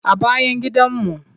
A bayan gidanmu.